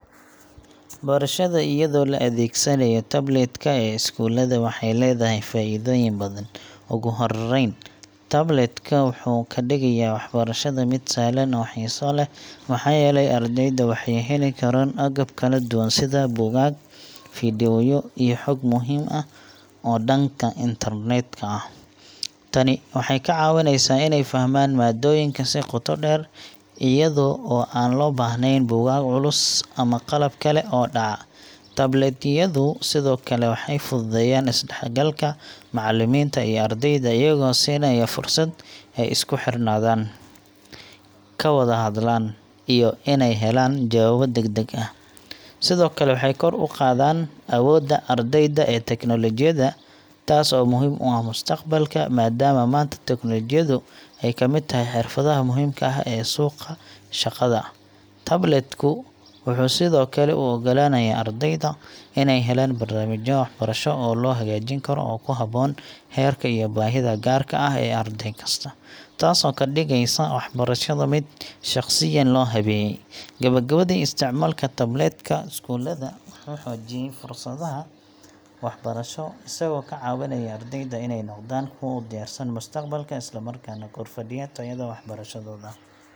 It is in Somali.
Barashada iyadoo la adeegsanayo tablet ka ee iskuulada waxay leedahay faa'iidooyin badan. Ugu horreyn, tablet-ka wuxuu ka dhigaya waxbarashada mid sahlan oo xiiso leh, maxaa yeelay ardayda waxay heli karaan agab kala duwan sida buugaag, fiidiyowyo, iyo xog muhiim ah oo dhanka internet-ka ah. Tani waxay ka caawineysaa inay fahmaan maaddooyinka si qoto dheer, iyada oo aan loo baahnayn buugaag culus ama qalab kale oo dhaca. Tablet yadu sidoo kale waxay fududeeyaan is-dhexgalka macallimiinta iyo ardayda, iyagoo siinaya fursad ay isku xirnaadaan, ka wada hadlaan, iyo inay helaan jawaabo deg-deg ah. Sidoo kale, waxay kor u qaadaan awoodda ardayda ee tiknoolajiyada, taas oo muhiim u ah mustaqbalka, maadaama maanta tiknoolajiyadu ay ka mid tahay xirfadaha muhiimka ah ee suuqa shaqada. Tablet ku wuxuu sidoo kale u oggolaanayaa ardayda inay helaan barnaamijyo waxbarasho oo la hagaajin karo oo ku habboon heerka iyo baahida gaarka ah ee arday kasta, taasoo ka dhigaysa waxbarashada mid shaqsiyan loo habeeyay. Gabagabadii, isticmaalka tablet ka iskuulada wuxuu xoojiyay fursadaha waxbarasho, isagoo ka caawinaya ardayda inay noqdaan kuwo u diyaarsan mustaqbalka, isla markaana kordhiya tayada waxbarashadooda.